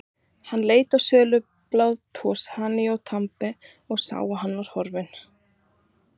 Hann leit á sölubás Toshizo Tanabe og sá að hann var horfinn.